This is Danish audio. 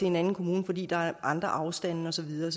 en anden kommune fordi der er andre afstande og så videre